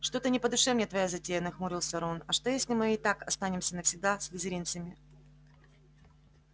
что-то не по душе мне твоя затея нахмурился рон а что если мы так и останемся навсегда слизеринцами